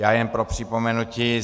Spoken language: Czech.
Já jen pro připomenutí.